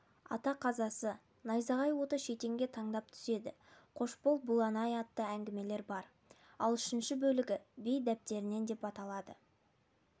ата қазасы найзағай оты шетенге таңдап түседі қош бол бұланай атты әңгімелер бар ал үшінші бөлегі бей дәптерінен деп аталады